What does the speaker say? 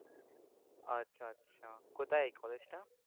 আচ্ছা আচ্ছা। কোথায় এই college টা?